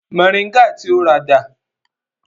Moringa ti o rà dà?